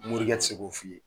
Morikɛ ti se k'o f'i ye.